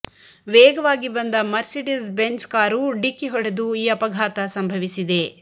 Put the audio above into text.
ವೇಗವಾಗಿ ಬಂದ Mercedes Benz car ಡಿಕ್ಕಿ ಹೊಡೆದು ಈ ಅಪಘಾತ ಸಂಭವಿಸಿದೆ